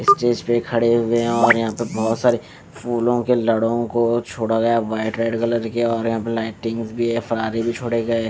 stage पे खड़े हुए हैं और यहां पे बहोत सारे फूलों के लड़ों को छोड़ा गया व्हाइट रेड कलर के और यहां पे लाइटिंग्स भी है भी छोड़े गए --